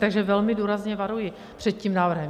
Takže velmi důrazně varuji před tím návrhem.